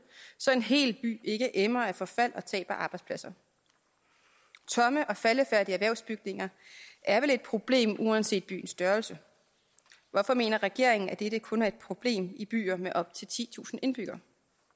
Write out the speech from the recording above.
så en hel by ikke emmer af forfald og tabte arbejdspladser tomme og faldefærdige erhvervsbygninger er vel et problem uanset byens størrelse hvorfor mener regeringen at dette kun er et problem i byer med op til titusind indbyggere